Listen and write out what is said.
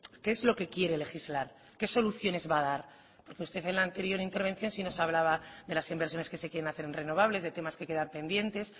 qué es lo que quiere legislar qué soluciones va a dar porque usted en la anterior intervención sí nos hablaba de las inversiones que se quieren hacer en renovables de temas que quedan pendientes